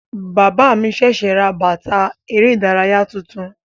Bàbá mi sẹsẹ rà bàtà ère ìdárayá tuntun.